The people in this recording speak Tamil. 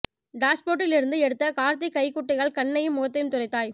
டாஷ்போர்டில் இருந்து எடுத்த காக்கிதக் கைக்குட்டையால் கண்ணையும் முகத்தையும் துடைத்தாய்